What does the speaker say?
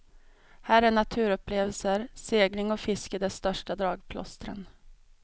Här är naturupplevelser, segling och fiske de största dragplåstren.